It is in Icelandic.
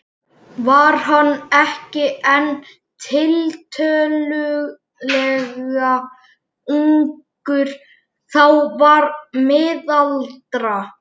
Var hann ekki enn tiltölulega ungur þá, varla miðaldra?